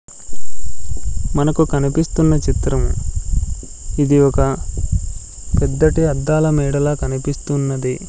మనకు కనిపిస్తున్న చిత్రం ఇది ఒక పెద్దటి అద్దాల మేడలా కనిపిస్తున్నది.